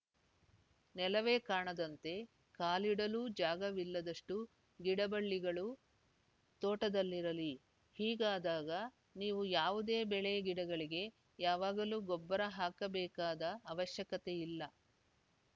ನೆಲವೇ ಕಾಣದಂತೆ ಕಾಲಿಡಲೂ ಜಾಗವಿಲ್ಲದಷ್ಟುಗಿಡ ಬಳ್ಳಿಗಳು ತೋಟದಲ್ಲಿರಲಿ ಹೀಗಾದಾಗ ನೀವು ಯಾವುದೇ ಬೆಳೆಗಿಡಗಳಿಗೆ ಯಾವಾಗಲೂ ಗೊಬ್ಬರ ಹಾಕಬೇಕಾದ ಅವಶ್ಯಕತೆ ಇಲ್ಲ